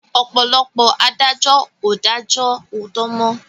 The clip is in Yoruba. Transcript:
Ọ̀pọ̀lọpọ̀ adájọ́ ò dájó òòtó mọ́.